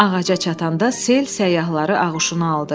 Ağaca çatanda sel səyyahları ağuşuna aldı.